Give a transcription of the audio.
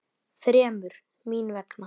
Þremur. mín vegna.